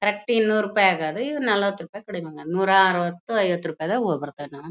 Correct ಇನ್ನೂರು ರೂಪಾಯಿ ಆಗೋದು ಈಗ ನಲವತ್ತು ರೂಪಾಯಿ ಕಡಿಮೆ ಆಗುತ್ತೆ ನೂರಾ ಅರವತ್ತು ಐವತ್ತು ರೂಪಾಯಿದಾಗ ಹಾಗ್ ಬರಬಹುದು ನಾವು.